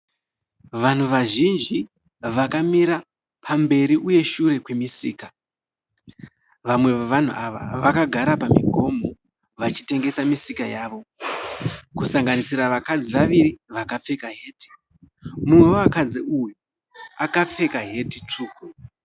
Vanhu vazhinji vakamira pamberi uye shure kwemisika. Vamwe vevanhu ava vakagara pamigomho vachitengesa misika yavo kusanganisira vakadzi vaviri vakapfeka heti mumwe wavakadzi uyu akapfeka heti tsvuku.